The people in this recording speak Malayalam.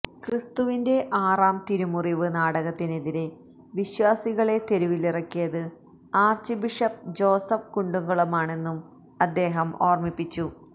ക്രിസ്തുവിന്റെ ആറാം തിരുമുറിവ് നാടകത്തിനെതിരെ വിശ്വാസികളെ തെരുവിലിറക്കിയത് ആര്ച്ച് ബിഷപ്പ് ജോസഫ് കുണ്ടുകുളമാണെന്നും അദ്ദേഹം ഓര്മിപ്പിച്ചു